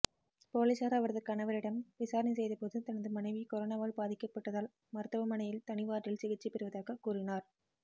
போலீசார் அவரது கணவரிடம் விசாரணை செய்தபோது தனது மனைவி கொரோனாவால் பாதிக்கப்பட்டதால் மருத்துவமனையில் தனி வார்டில் சிகிச்சை பெறுவதாக கூறினார்